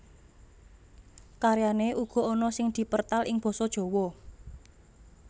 Karyané uga ana sing dipertal ing Basa Jawa